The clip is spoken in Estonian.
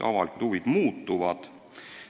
Avalikud huvid võivad muutuda.